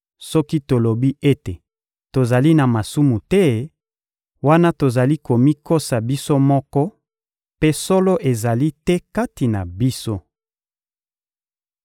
Soki tolobi ete tozali na masumu te, wana tozali komikosa biso moko mpe solo ezali te kati na biso.